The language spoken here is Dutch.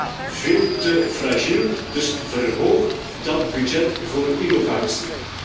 We zijn daar veel te fragiel, dus verhoog dat budget voor innovatie.